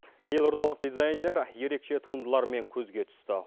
елордалық дизайнер ерекше туындыларымен көзге түсті